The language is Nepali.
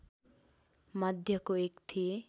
मध्येको एक थिए